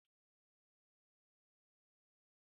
Ƙaddamarwa ya nuna alamar canji, yana nuna ƙarin nauyi a cikin shekaru.